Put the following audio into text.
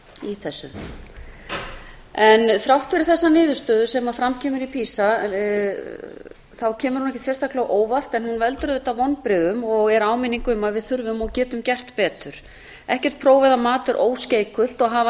í þessu þrátt fyrir þessa niðurstöðu sem fram kemur í pisa kemur hún ekkert sérstaklega á óvart en hún veldur auðvitað vonbrigðum og er áminning um að við þurfum og getum gert betur ekkert próf eða mat er óskeikult hafa